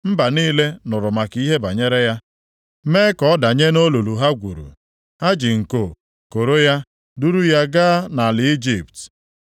Mba niile nụrụ maka ihe banyere ya, mee ka ọ danye nʼolulu ha gwuru. Ha ji nko koro ya, duru ya gaa nʼala Ijipt.